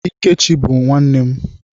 Ikechi bụ nwanne m.